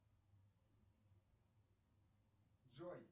джой